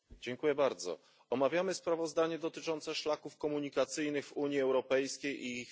Omawiamy sprawozdanie dotyczące szlaków komunikacyjnych w Unii Europejskiej i ich finansowania.